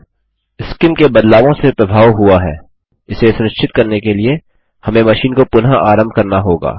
CIM के बदलावों से प्रभाव हुआ है इसे सुनिश्चित करने के लिए हमें मशीन को पुनः आरंभ करना होगा